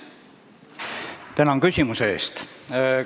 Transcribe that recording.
Tänan küsimuse eest!